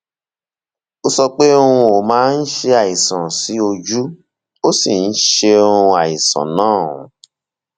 ó sọ pé um ó máa ń ṣe àìsàn sí ojú ó sì ń ṣe um àìsàn náà um